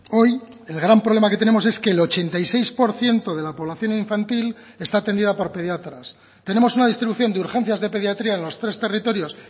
hoy el gran problema que tenemos es que el ochenta y seis por ciento de la población infantil está atendida por pediatras tenemos una distribución de urgencias de pediatría en los tres territorios